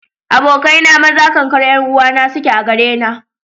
Abokai na maza kankar 'yan uwa suke a gare na.